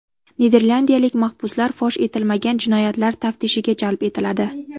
Niderlandiyalik mahbuslar fosh etilmagan jinoyatlar taftishiga jalb etiladi.